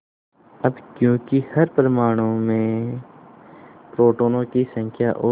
अब क्योंकि हर परमाणु में प्रोटोनों की संख्या और